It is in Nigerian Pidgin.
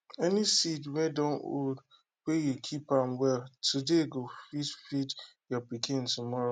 any seed wey don old wey you keep am well today go fit feed your pikin tomorrow